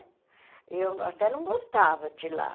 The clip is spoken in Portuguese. E eu até não gostava de ir lá.